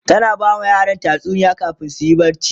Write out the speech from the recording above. tana bama yaran tatsuniya kamin suyi barci